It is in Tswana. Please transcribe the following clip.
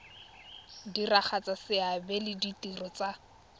diragatsa seabe le ditiro tsa